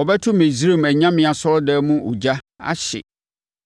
Ɔbɛto Misraim anyame asɔredan mu ogya ahye